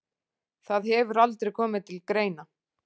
Það hefur aldrei komið til greina.